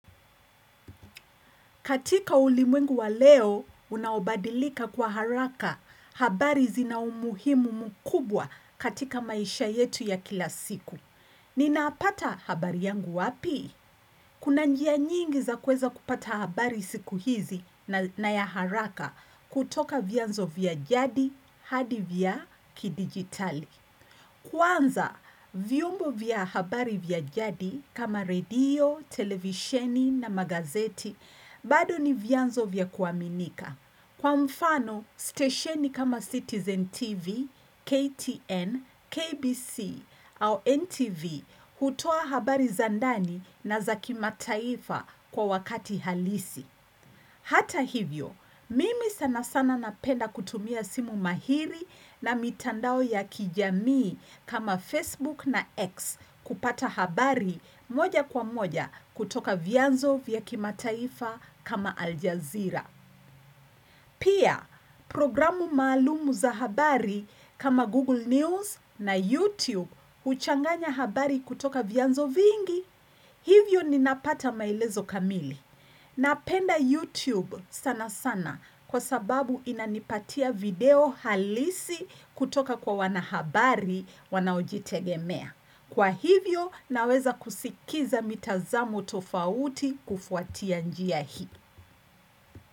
Katika ulimwengu wa leo, unaobadilika kwa haraka, habari zina umuhimu mkubwa katika maisha yetu ya kila siku. Ninapata habari yangu wapi? Kuna njia nyingi za kuweza kupata habari siku hizi na ya haraka kutoka vyanzo vya jadi, hadi vya kidigitali. Kwanza, vyombo vya habari vya jadi kama radio, televisheni na magazeti. Bado ni vyanzo vya kuaminika. Kwa mfano, stesheni kama Citizen TV, KTN, KBC au NTV hutoa habari za ndani, na za kimataifa kwa wakati halisi. Hata hivyo, mimi sana sana napenda kutumia simu mahiri na mitandao ya kijamii kama Facebook na X kupata habari moja kwa moja kutoka vyanzo vya kimataifa kama Aljazeera. Pia, programu maalumu za habari kama Google News na YouTube huchanganya habari kutoka vyanzo vingi. Hivyo ninapata maelezo kamili. Napenda YouTube sana sana kwa sababu inanipatia video halisi kutoka kwa wanahabari wanaojitegemea. Kwa hivyo naweza kusikiza mitazamo tofauti kufuatia njia hii.